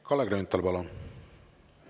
Kalle Grünthal, palun!